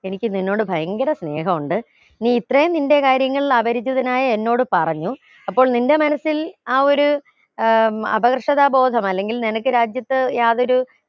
എനിക്ക് നിന്നോട് ഭയങ്കര സ്നേഹോണ്ട് നീ ഇത്രയും നിന്റെ കാര്യങ്ങൾ അപരിചിതനായ എന്നോട് പറഞ്ഞു അപ്പോൾ നിന്റെ മനസ്സിൽ ആ ഒരു ഏർ അപകർഷതാ ബോധം അല്ലെങ്കിൽ നിനക്ക് രാജ്യത്ത് യാതൊരു